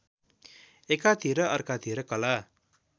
एकातिर अर्कातिर कला